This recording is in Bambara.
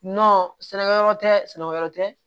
sɛnɛkɛ yɔrɔ tɛ sɛnɛkɛyɔrɔ tɛ